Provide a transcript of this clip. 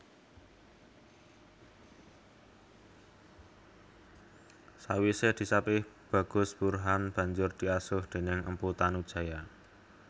Sawisé disapih Bagus Burhan banjur diasuh déning Empu Tanujaya